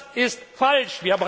Das ist falsch.